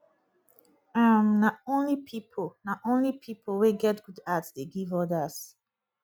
um na only pipo na only pipo wey get good heart dey give odas